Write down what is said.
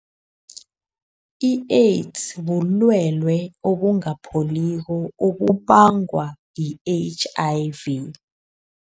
I-AIDS bulwele obungapholiko obubangwa yi-H_I_V.